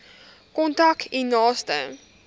kontak u naaste